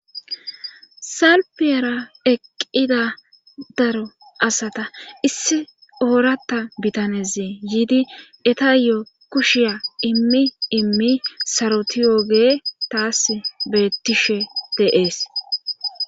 salpiyara eqqida daro asata issi oorata bitaneze yiidi etayo kushiya immi immi sarotiyooge taas bettishe de7ees.